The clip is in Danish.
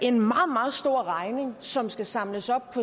en meget stor regning som skal samles op